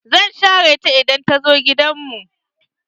Zan share ta idan ta zo gidan mu.